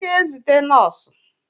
M ga-ezute nọọsụ.